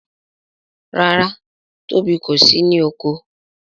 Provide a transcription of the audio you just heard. ràrá Tóbi kò sì ní oko.